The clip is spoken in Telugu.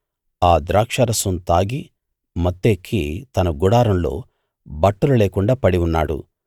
ఆ ద్రాక్షారసం తాగి మత్తెక్కి తన గుడారంలో బట్టలు లేకుండా పడి ఉన్నాడు